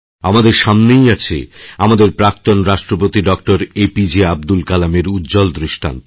আমাদের সামনেই আছে আমাদের প্রাক্তণ রাষ্ট্রপতিএপিজে আবদুল কালামের উজ্জ্বল দৃষ্টান্ত